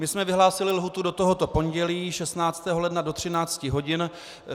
My jsme vyhlásili lhůtu do tohoto pondělí, 16. ledna do 13 hodin.